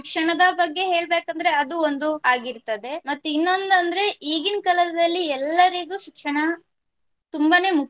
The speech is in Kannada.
ಶಿಕ್ಷಣದ ಬಗ್ಗೆ ಹೇಳ್ಬೇಕಂದ್ರೆ ಅದು ಒಂದು ಆಗಿರ್ತದೆ ಮತ್ ಇನ್ನೋನ್ನಂದ್ರೆ ಈಗಿನ್ ಕಾಲದಲ್ಲಿ ಎಲ್ಲರಿಗು ಶಿಕ್ಷಣ ತುಂಬನೆ ಮುಖ್ಯ.